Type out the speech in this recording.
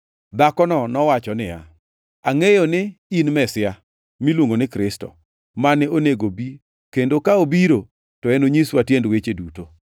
Dhakono nowacho niya, “Angʼeyo ni in Mesia” (miluongo ni Kristo) “mane onego bi kendo ka obiro, to enonyiswa tiend weche duto.”